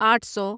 آٹھ سو